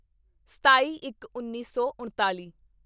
ਸਤਾਈਇੱਕਉੱਨੀ ਸੌ ਉਣਤਾਲੀ